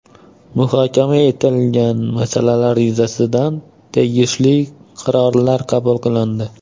Muhokama etilgan masalalar yuzasidan tegishli qarorlar qabul qilindi.